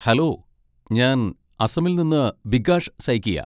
Hello! ഞാൻ അസമിൽ നിന്ന് ബികാഷ് സൈകിയ.